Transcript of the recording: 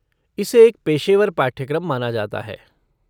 इसे एक पेशेवर पाठ्यक्रम माना जाता है।